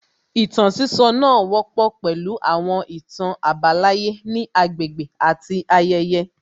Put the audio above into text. Ìtàn sísọ náà wọ́pọ̀ pẹ̀lú àwọn ìtàn àbálàyé ní agbègbè àti ayẹyẹ